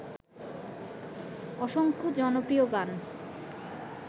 অসংখ্য জনপ্রিয় গান